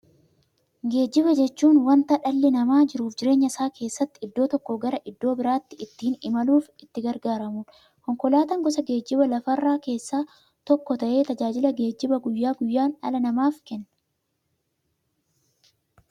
Geejjiba jechuun wanta dhalli namaa jiruuf jireenya isaa keessatti iddoo tokkoo gara iddoo birootti ittiin imaluudha. Konkolaatan gosa geejjibaa lafarraa keessaa tokko ta'ee, tajaajila geejjibaa guyyaa guyyaan dhala namaaf kenna.